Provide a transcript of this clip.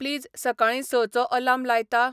please सकाळीं संंचो alarm लायता